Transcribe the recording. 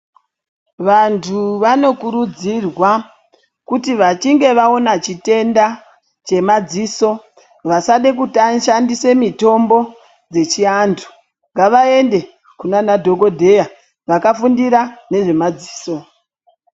Vantu vanokurudzirwa kuti vachinge vaona chitenda chemadziso, vasade kushandise mitombo dzechiantu, ngavaende kunana dhokodheya vakafundira nezvemadziso.